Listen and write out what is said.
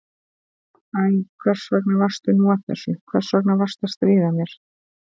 Æ, hvers vegna varstu nú að þessu, hvers vegna varstu að stríða mér?